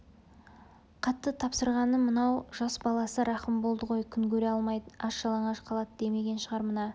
қатты тапсырғаны мынау жас баласы рахым болды ғой күн көре алмайды аш-жалаңаш қалады демеген шығар мына